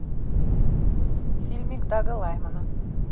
фильмик дага лаймана